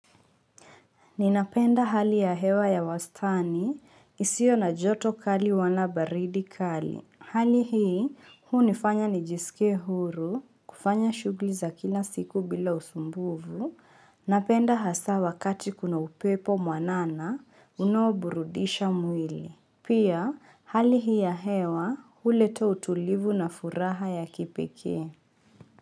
Ninapenda hali ya hewa ya wastani, isio na joto kali wala baridi kali. Hali hii, hunifanya nijiskie huru, kufanya shughli za kila siku bila usumbufu, napenda hasa wakati kuna upepo mwanana, unaoburundisha mwili. Pia, hali hii ya hewa, uleta utulivu na furaha ya kipekee.